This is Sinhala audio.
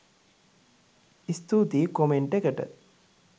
ස්තුතියි කොමෙන්ට් එකට!